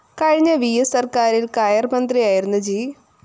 കഴിഞ്ഞ വിഎസ് സര്‍ക്കാരില്‍ കയര്‍ മന്ത്രിയായിരുന്ന ജി